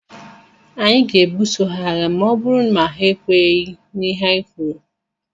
Anyị ga-ebuso ha agha ma ọ bụrụ ma ekwenyeghi na ihe anyị kwuru.